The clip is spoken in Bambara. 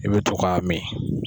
I bɛ to k'a min.